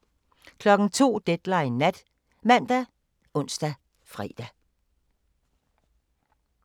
02:00: Deadline Nat ( man, ons, fre)